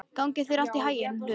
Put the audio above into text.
Gangi þér allt í haginn, Hlöður.